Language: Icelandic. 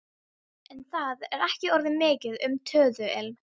En það er ekki orðið mikið um töðuilm.